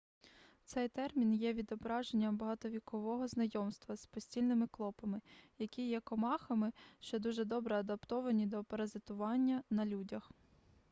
цей термін є відображенням багатовікового знайомства з постільними клопами які є комахами що дуже добре адаптовані до паразитування на людях